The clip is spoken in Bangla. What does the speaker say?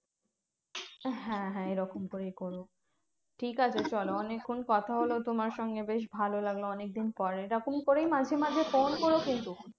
হ্যাঁ হ্যাঁ এইরকম করেই করো। ঠিকাছে চলো অনেক্ষন কথা হলো তোমার সঙ্গে বেশ ভালো লাগলো অনেকদিন পর। এরকম করেই মাঝে মাঝে ফোন করো কিন্তু।